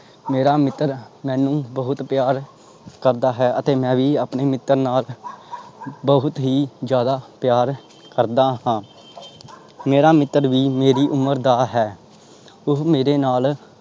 ਮੇਰਾ ਮਿੱਤਰ ਮੈਨੂੰ ਬਹੁਤ ਪਿਆਰ ਕਰਦਾ ਹੈ ਅਤੇ ਮੈਂ ਵੀ ਆਪਣੇ ਮਿੱਤਰ ਬਹੁਤ ਹੀ ਜ਼ਿਆਦਾ ਪਿਆਰ ਕਰਦਾ ਹਾਂ ਮੇਰਾ ਮਿੱਤਰ ਵੀ ਮੇਰੀ ਉਮਰ ਦਾ ਹੈ ਉਹ ਮੇਰੇ ਨਾਲ